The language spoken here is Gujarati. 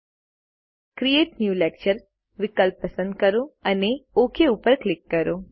હવે ક્રિએટ ન્યૂ લેક્ચર વિકલ્પ પસંદ કરો અને ઓક પર ક્લિક કરો